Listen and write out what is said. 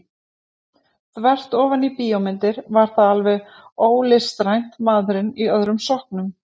Þvert ofan í bíómyndir var það alveg ólistrænt maðurinn í öðrum sokknum.